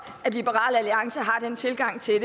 at liberal alliance har den tilgang til